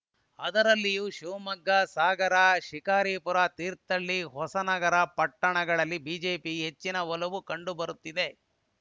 ಅದರಲ್ಲಿಯೂ ಶಿವಮೊಗ್ಗ ಸಾಗರ ಶಿಕಾರಿಪುರ ತೀರ್ಥಹಳ್ಳಿ ಹೊಸನಗರ ಪಟ್ಟಣಗಳಲ್ಲಿ ಬಿಜೆಪಿಗೆ ಹೆಚ್ಚಿನ ಒಲವು ಕಂಡುಬರುತ್ತಿದೆ